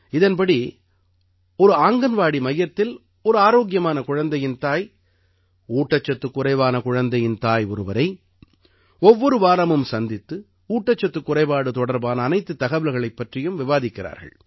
இதன்படி ஒரு ஆங்கன்வாடி மையத்தில் ஒரு ஆரோக்கியமான குழந்தையின் தாய் ஊட்டச்சத்துக் குறைவான குழந்தையின் தாய் ஒருவரை ஒவ்வொரு வாரமும் சந்தித்து ஊட்டச்சத்துக் குறைபாடு தொடர்பான அனைத்துத் தகவல்களைப் பற்றியும் விவாதிக்கிறார்கள்